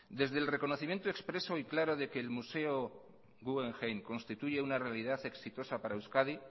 desde el reconocimiento expreso y claro de que el museo guggenheim constituye una realidad exitosa para euskadi